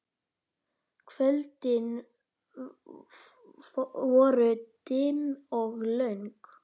Kvöldin voru dimm og löng.